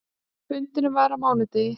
Fundurinn var á mánudegi.